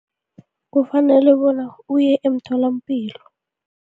Kufanele bona uye emtholapilo.